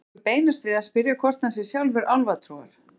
Nú liggur beinast við að spyrja hvort hann sé sjálfur álfatrúar.